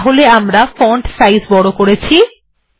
তাহলে আমরা font size বড় করেছি